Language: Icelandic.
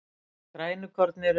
grænukorn eru